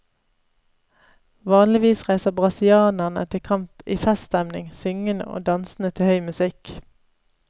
Vanligvis reiser brasilianerne til kamp i feststemning, syngende og dansende til høy musikk.